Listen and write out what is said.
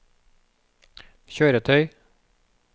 kjøretøy